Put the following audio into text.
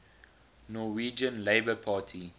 norwegian labour party